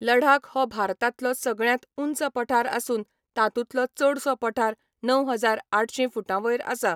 लडाख हो भारतांतलो सगळ्यांत ऊंच पठार आसून तातूंतलो चडसो पठार णव हजार आठशीं फूटांवयर आसा.